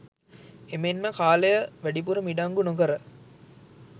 එමෙන්ම කාලය වැඩිපුර මිඩංගු නොකර